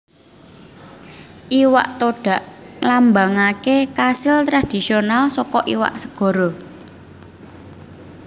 Iwak Todak nglambangaké kasil tradisional saka iwak segara